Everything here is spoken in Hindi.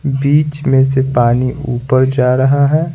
बीच में से पानी ऊपर जा रहा है।